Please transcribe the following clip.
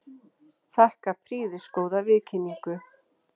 Þakka prýðisgóða viðkynningu.